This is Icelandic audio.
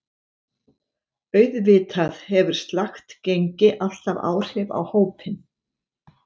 Auðvitað hefur slakt gengi alltaf áhrif á hópinn.